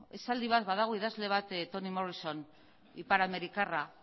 esaldi bat badago idazle bat tony morrison iparamerikarra